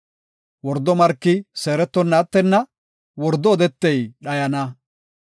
Wordo marki seerettonna attenna; wordo odetey dhayana.